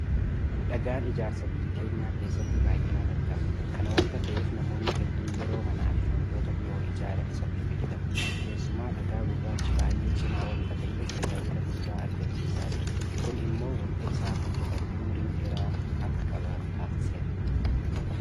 Dhagaan ijaarsaa biyya keenya keessatti baay'inaan argama. Kana waanta ta'eef namoonni hedduun yeroo manaafi waantota biroo ijaaran isatti fayyadamu. Keessumaa dhagaa gurraachi baay'ee cimaa waanta ta'eef tajaajila guddaa argamsiisaa jira. Kun immoo waanti isaan hojjetame ummurii yeroo dheeraa akka qabaatu taasiseera.